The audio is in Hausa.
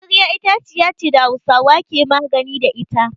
Magarya itaciya ce da Hausawa ke magani da ita.